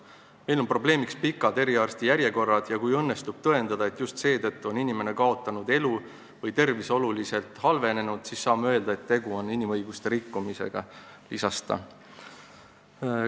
"Meil on probleemiks pikad eriarsti järjekorrad, ja kui õnnestub tõendada, et just seetõttu on inimene kaotanud elu või tervis oluliselt halvenenud, siis saame öelda, et tegu on inimõiguste rikkumisega," lisas ta.